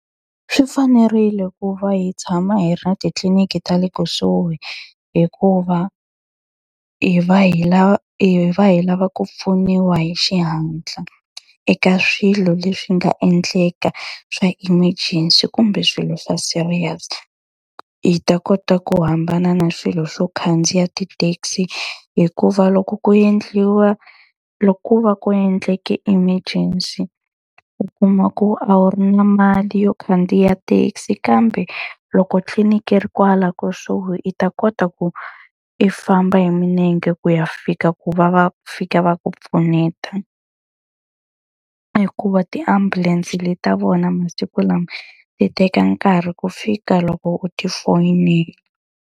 Swi fanerile ku va hi tshama hi ri na titliliniki ta le kusuhi hikuva, hi va hi hi va hi lava ku pfuniwa hi xihatla eka swilo leswi nga endleka swa emergency kumbe swilo swa serious. Hi ta kota ku hambana na swilo swo khandziya ti-taxi. Hikuva loko ku endliwa loko ko va ku endleke emergency, u kuma ku a wu ri na mali yo khandziya thekisi kambe loko tliliniki ri kwala kusuhi i ta kota ku i famba hi milenge ku ya fika ku va va fika va ku pfuneta. Hikuva tiambulense leta vona masiku lawa ti teka nkarhi ku fika loko u ti foyinela.